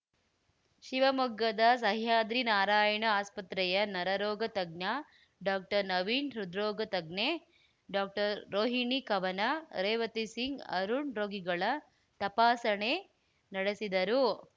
ಶಿವಮೊಗ್ಗದ ಸಹ್ಯಾದ್ರಿ ನಾರಾಯಣ ಆಸ್ಪತ್ರೆಯ ನರ ರೋಗ ತಜ್ಞ ಡಾಕ್ಟರ್ನವೀನ್‌ ಹೃದ್ರೋಗ ತಜ್ಞೆ ಡಾಕ್ಟರ್ರೋಹಿಣಿ ಕವನ ರೇವತಿ ಸಿಂಗ್‌ ಅರುಣ್‌ ರೋಗಿಗಳ ತಪಾಸಣೆ ನಡೆಸಿದರು